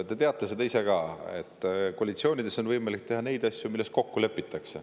Te teate ise ka, et koalitsioonides on võimalik teha neid asju, milles on kokku lepitud.